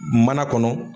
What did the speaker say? Mana kɔnɔ